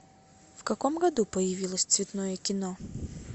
в каком году появилось цветное кино